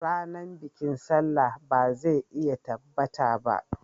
Ranar bikin Sallah ba zai iya tabbata ba